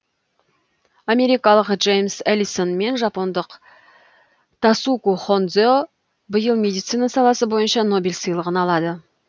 америкалық джеймс элиссон мен жапондық тасуку хондзе биыл медицина саласы бойынша нобель сыйлығын алады